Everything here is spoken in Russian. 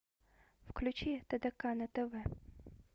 включи тдк на тв